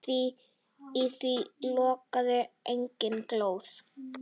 Í því logaði engin glóð.